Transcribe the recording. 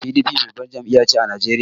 PDP babbar jam'iya ce a Najeriya.